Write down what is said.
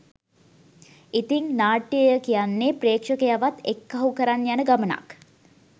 ඉතිං නාට්‍යය කියන්නේ ප්‍රේක්ෂකයවත් එක්කහු කරන් යන ගමනක්